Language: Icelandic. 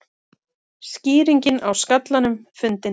Skýringin á skallanum fundin